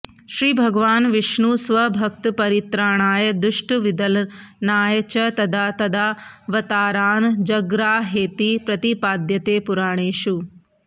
श्रीभगवान् विष्णुः स्वभक्तपरित्राणाय दुष्टविदलनाय च तदा तदावतारान् जग्राहेति प्रतिपाद्यते पुराणेषु